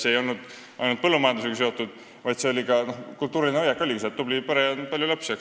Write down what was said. See ei olnud ainult põllumajandusega seotud, see oli ka kultuuriline hoiak, et tublis peres ongi palju lapsi.